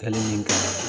Hali ni kalan